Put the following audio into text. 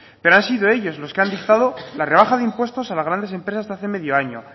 pero han sido ellos los que han dictado la rebaja de impuestos a las grandes empresas hace medio año